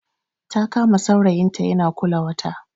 Ta kama saurayinta yana kula wata